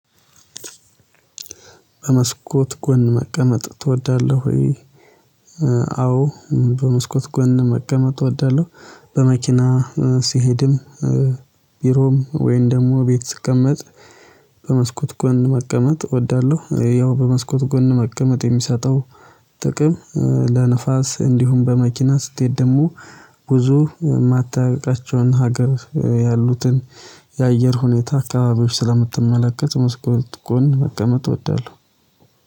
በመስኮት ጎን መቀመጥ ትወዳለህ ወይ? አዎ በመስኮት ጎን መቀመጥ እወዳለሁ በመኪና ሲሄድም ቢሮም ወይን ደግሞ ቤት ስቀመጥ በመስኮት ጎን መቀመጥ እወዳለሁ። ያው በመስኮት ጎን መቀመጥ የሚሰጠው ጥቅም ለንፋስ እንዲሁም በመኪና ስትሄድ ደግሞ ብዙ የማታውቃቸውን ሀገር ያሉትን የአየር ሁኔታ አካባቢዎች ስለምትመለከት መስኮት ጎን መቀመጥ እወዳለሁ።